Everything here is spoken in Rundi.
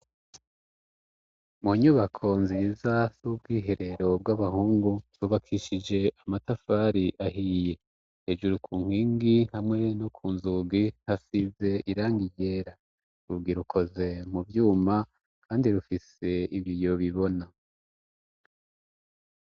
mu nyubako nziza z'ubwiherero bw'abahungu rubakishije amatafari ahiye hejuru kunkingi hamwe no kunzugi hasize irangi ryera urugi rukoze mu vyuma kandi rufise ibiyo bibona